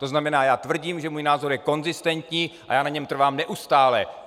To znamená, já tvrdím, že můj názor je konzistentní, a já na něm trvám neustále!